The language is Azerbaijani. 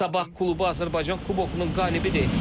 Sabah klubu Azərbaycan kubokunun qalibidir.